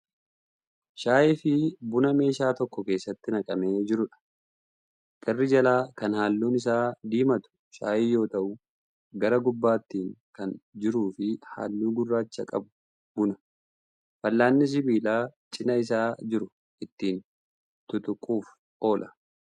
Shaayii fi buna meeshaa tokko keessatti naqamee jiruudha. Garri jalaa kan halluun isaa diimatu shaayii yoo ta'u gara gubbaatiin kan jiruufi halluu gurraacha qabu buna. Fal'aanni sibiilaa cinaa isaa jiru ittiin tuttuquuf oola.